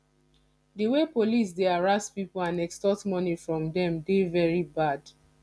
di way police dey harass people and extort money from dem dey very bad